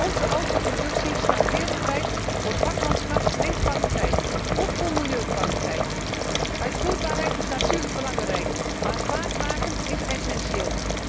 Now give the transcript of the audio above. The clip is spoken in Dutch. voorkomen. Onze autoproductie staat wereldwijd voor vakmanschap en kwaliteit, ook voor milieukwaliteit. Uitvoerbaarheid is natuurlijk belangrijk, maar vaart maken